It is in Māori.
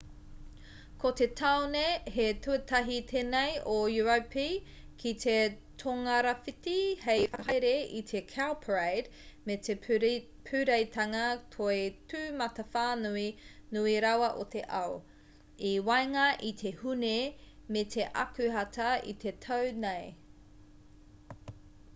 ko te tāone te tuatahi tēnei o europi ki te tongarāwhiti hei whakahaere i te cowparade me te pūreitanga toi tūmatawhānui nui rawa o te ao i waenga i te hūne me te akuhata i te tau nei